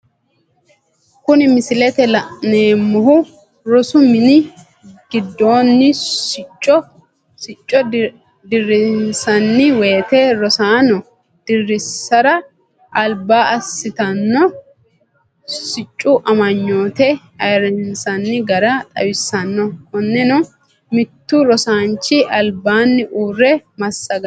Kuni misilete la'neemohu rosu mini gidonni sicco dirinsanni woyite rosanno dirisara aliba asittano siccu amanyoote ayiirisanni gara xawisanno, konenno mitu rosisanchi alibanni uure masagano